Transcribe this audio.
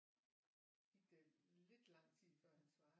Gik der lidt lang tid før han svarede